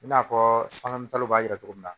I n'a fɔ sanga misɛnw b'a yira cogo min na